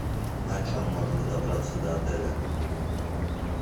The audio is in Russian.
на чем можно добраться до отеля